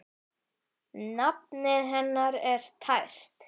Nafnið hennar er tært.